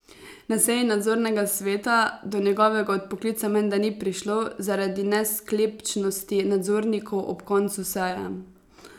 Na seji nadzornega sveta do njegovega odpoklica menda ni prišlo zaradi nesklepčnosti nadzornikov ob koncu seje.